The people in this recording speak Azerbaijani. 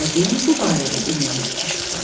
Yəqin bu barədə iynəsi tikiş tutar.